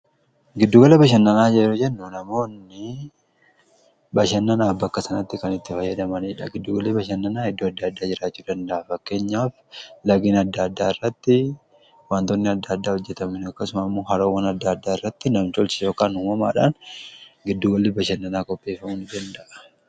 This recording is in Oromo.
giddu gala bashannanaa yeroo jennu namoonni bashannanaaf bakka sanatti kan itti fayyadamaniidha giddu galli bashannanaa iddoo adda addaa jiraachuu danda'a fakkeenyaaf lageen adda addaa irratti waantoonni adda addaa hojjetamuun akkasumammo haroowwan adda addaa irratti nam tolcheedhan yookaan uumamaadhaan giddugalli bashannanaa qophii ta'uu danda'a.